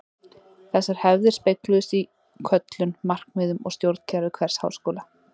Þessar hefðir spegluðust í köllun, markmiðum og stjórnkerfi hvers háskóla.